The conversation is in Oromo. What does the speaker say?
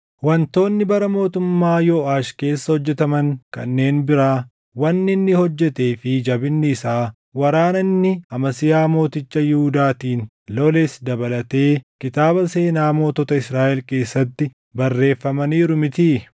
Wantoonni bara mootummaa Yooʼaash keessa hojjetaman kanneen biraa, wanni inni hojjetee fi jabinni isaa, waraana inni Amasiyaa mooticha Yihuudaatiin loles dabalatee kitaaba seenaa mootota Israaʼel keessatti barreeffamaniiru mitii?